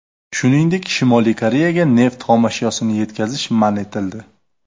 Shuningdek, Shimoliy Koreyaga neft xomashyosini yetkazish man etildi.